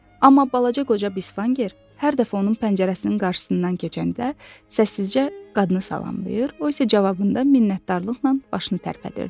Amma balaca qoca Bisvanger hər dəfə onun pəncərəsinin qarşısından keçəndə səssizcə qadını salamlayır, o isə cavabında minnətdarlıqla başını tərpədirdi.